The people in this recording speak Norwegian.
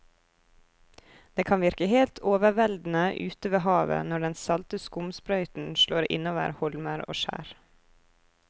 Det kan virke helt overveldende ute ved havet når den salte skumsprøyten slår innover holmer og skjær.